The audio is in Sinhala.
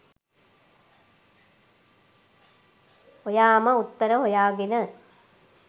ඔයාම උත්තර හොයාගෙන